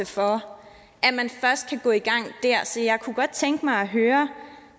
for at man først kan gå i gang der så jeg kunne godt tænke mig at høre